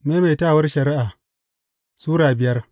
Maimaitawar Shari’a Sura biyar